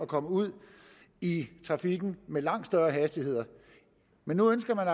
komme ud i trafikken med langt større hastigheder men nu ønsker man